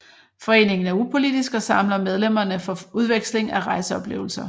Foreningen er upolitisk og samler medlemmerne for udveksling af rejseoplevelser